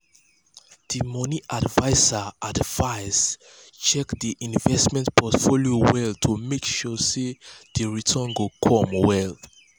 d money adviser adviser check di investment portfolio well to make sure sey di returns go come well.